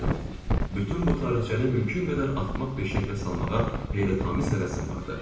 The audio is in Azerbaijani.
Bütün bu tarixçəni mümkün qədər axmaq bir şəklə salmağa heyrətamiz həvəsim vardı.